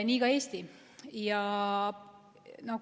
Nii ka Eesti.